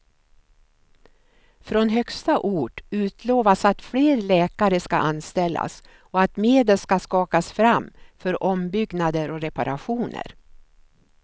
Från högsta ort utlovas att fler lärare ska anställas och att medel ska skakas fram för ombyggnader och reparationer.